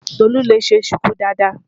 Tolú lè ṣe ṣùkú dáadáa.